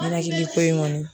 Ɲɛnakili ko in kɔni